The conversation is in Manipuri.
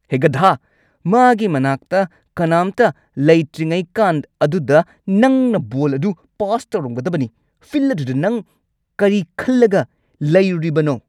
ꯍꯦ ꯒꯙꯥ꯫ ꯃꯥꯒꯤ ꯃꯅꯥꯛꯇ ꯀꯅꯥꯝꯇ ꯂꯩꯇ꯭ꯔꯉꯥꯏꯀꯥꯟ ꯑꯗꯨꯗ ꯅꯪꯅ ꯕꯣꯜ ꯑꯗꯨ ꯄꯥꯁ ꯇꯧꯔꯝꯒꯗꯕꯅꯤ꯫ ꯐꯤꯜꯗ ꯑꯗꯨꯗ ꯅꯪ ꯀꯔꯤ ꯈꯜꯂꯒ ꯂꯩꯔꯨꯔꯤꯕꯅꯣ?